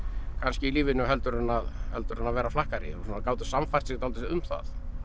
kannski í lífinu heldur en heldur en að vera flakkari og gátu sannfært sig dálítið um það